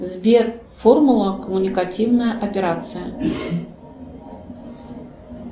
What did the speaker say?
сбер формула коммуникативная операция